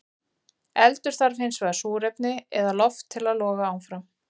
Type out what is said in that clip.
Eldur þarf hins vegar súrefni eða loft til að loga áfram.